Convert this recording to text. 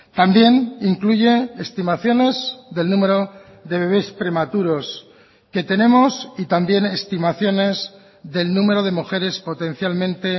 también incluye estimaciones del número de bebes prematuros que tenemos y también estimaciones del número de mujeres potencialmente